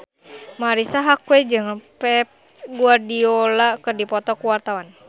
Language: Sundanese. Marisa Haque jeung Pep Guardiola keur dipoto ku wartawan